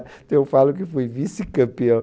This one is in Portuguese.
Então eu falo que fui vice-campeão.